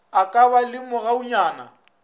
a ka ba le mogaunyana